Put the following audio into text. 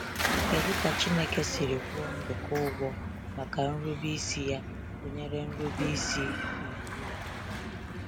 Kedu ka Chineke siri kwụọ Nduka ụgwọ maka nrube isi ya, gụnyere nrube isi n’iwu Ya?